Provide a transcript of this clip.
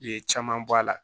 Ye caman bɔ a la